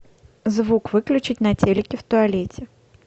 звук выключить на телике в туалете